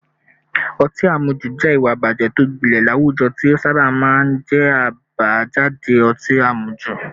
Ọtí àmujù jẹ́ ìwà ìbàjẹ́ tó gbilẹ̀ láwùjọ tí ó sábà máa ń jẹ́ àbájáde ọtí àmujù